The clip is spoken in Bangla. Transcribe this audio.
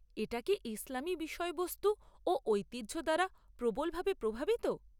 এটা কি ইসলামী বিষয়বস্তু ও ঐতিহ্য দ্বারা প্রবলভাবে প্রভাবিত?